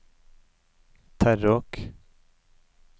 Terråk